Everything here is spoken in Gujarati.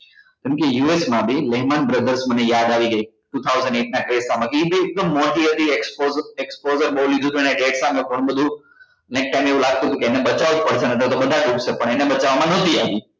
કેમ કે US માં બી brothers મને યાદ આવી ગઈ two thousand eight ના મા એ બી એકદમ મોતી મોતી exposure બોલી ગયું તુ ને nexa ને એવુ લાગતું હતું કે મને બચાવ કરશે ને પણ એને બચાવવા માં નતી આવી